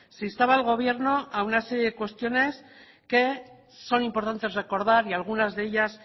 se instaba al gobierno a una serie de cuestiones que son importantes recordar y algunas de ellas